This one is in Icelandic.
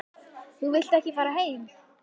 Þú vilt þá ekki fara heim?